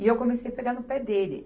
E eu comecei pegar no pé dele.